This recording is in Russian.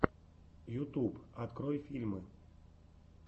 ютуб открой фильмы